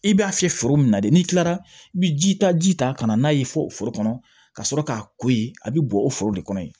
I b'a fiyɛ foro min na de n'i kilara i bi jitaji ta ka na n'a ye fo foro kɔnɔ ka sɔrɔ k'a ko ye a bɛ bɔn o foro de kɔnɔ yen